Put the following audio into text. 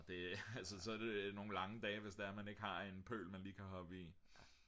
det altså så er det nogle lange dage hvis det er man ikke lige har en pøl man kan hoppe i